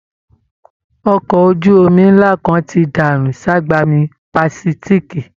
Ọkọ ojú omí ńlá kan ti dànù ságbami Pàsífíìkì